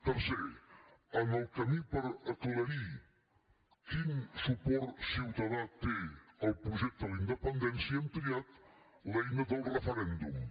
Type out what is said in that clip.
tercer en el camí per aclarir quin suport ciutadà té el projecte a la independència hem triat l’eina del referèndum